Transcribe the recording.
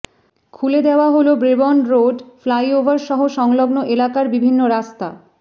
খুলে দেওয়া হল ব্রেবোর্ন রোড ফ্লাইওভার সহ সংলগ্ন এলাকার বিভিন্ন রাস্তা